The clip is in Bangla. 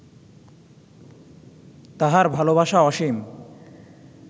তাঁহার ভালবাসা অসীম